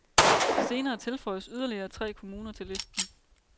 Senere tilføjes yderligere tre kommuner til listen.